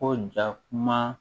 Ko ja kuma